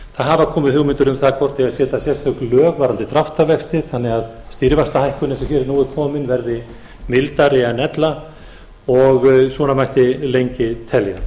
hafa komið hugmyndir um það hvort eigi að setja sérstök lög varðandi dráttarvexti þannig að stýrivaxtahækkunin sem hér er nú komin verði mildari en ella og svona mætti lengi telja